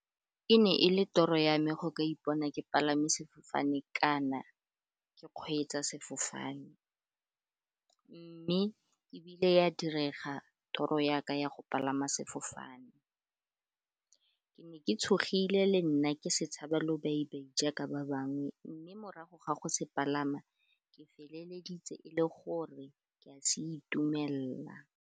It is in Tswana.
E ne e le toro ya me go ka ipona ke palame sefofane kana ke kgweetsa sefofane, mme ebile ya direga toro yaka ya go palama sefofane. Ke ne ke tshogile le nna ke se tshaba lobaibai jaaka ba bangwe, mme morago ga go se palama ke feleleditse e le gore ke a se itumelela.